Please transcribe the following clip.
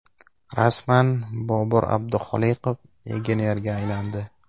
Rasman: Bobur Abduxoliqov legionerga aylandi.